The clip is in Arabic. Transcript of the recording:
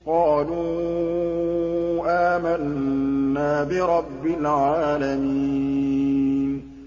قَالُوا آمَنَّا بِرَبِّ الْعَالَمِينَ